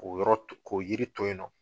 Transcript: O yɔrɔ k'o yiri to yen nɔ